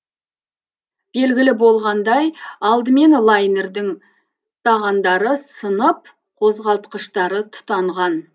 белгілі болғандай алдымен лайнердің тағандары сынып қозғалтқыштары тұтанған